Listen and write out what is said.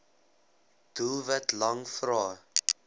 doelwit lang vrae